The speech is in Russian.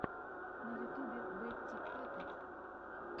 на ютубе бэтти паппет